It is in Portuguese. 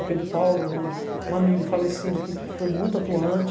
O Pedro Paulo é um amigo falecido que foi muito atuante.